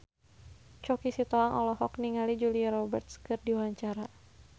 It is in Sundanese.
Choky Sitohang olohok ningali Julia Robert keur diwawancara